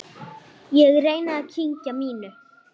Ég reyni að kyngja mínu.